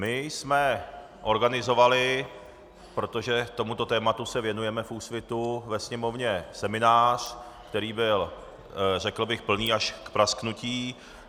My jsme organizovali, protože tomuto tématu se věnujeme v Úsvitu, ve Sněmovně seminář, který byl, řekl bych, plný až k prasknutí.